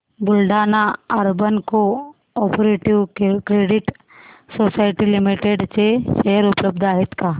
Buldhana urban cooperative credit society limited चे share उपलब्ध आहेत का